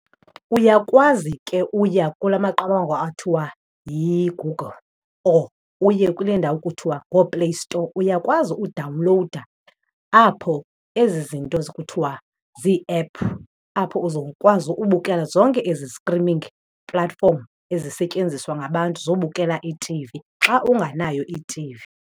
Uyakwazi ke uya kula maqonga athiwa yiGoogle or uye kule ndawo kuthiwa ngooPlay Store, uyakwazi udawunlowuda apho ezi zinto kuthwa zii-app apho uzokwazi ubukela zonke ezi streaming platform ezisetyenziswa ngabantu zobukela i-T_V, xa unganayo i-T_V.